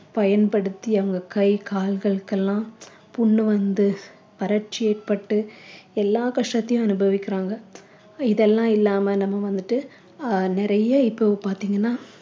பயன்படுத்தி அவங்க கை கால்களுக்கெல்லாம் புண்ணு வந்து வறட்சி ஏற்பட்டு எல்லா கஷ்டத்தையும் அனுபவிக்கிறாங்க இதெல்லாம் இல்லாம நம்ம வந்துட்டு அஹ் நிறைய இப்போ பார்த்தீங்கன்னா